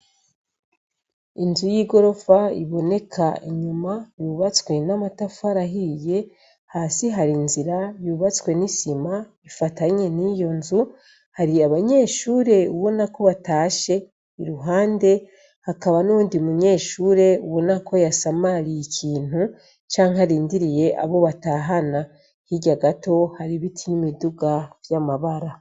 Inzu y'i gorofa iboneka inyuma yubatswe n'amatafu arahiye hasi hari inzira yubatswe n'isima ifatanye n'iyo nzu hari abanyeshure ubona ko batashe i ruhande hakaba n'undi munyeshure ubona ko yasamariye ikintu a canke arindiriye abo batahana hirya gato hari ibiti n'imiduga vy'amabara.